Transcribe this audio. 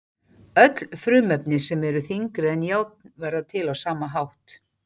Öll frumefni sem eru þyngri en járn verða til á sama hátt.